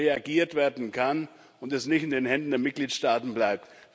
reagiert werden kann und es nicht in den Händen der Mitgliedstaaten bleibt.